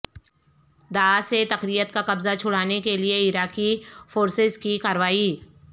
داعش سے تکریت کا قبضہ چھڑانے کے لیے عراقی فورسز کی کارروائی